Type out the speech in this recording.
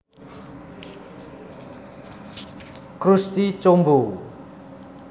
Krusty Combo